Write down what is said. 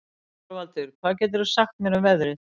Þorvaldur, hvað geturðu sagt mér um veðrið?